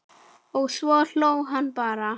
Og svo hló hún bara.